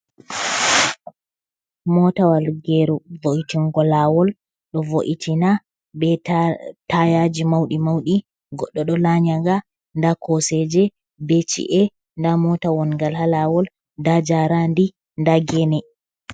mota wal geru vo’itingo lawol, do vo’itina be tayaji maudi maudi goddo do lanya nga, nda koseje be ci’a nda mota wongal ha lawol da jarandi da gene.